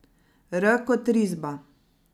R kot risba.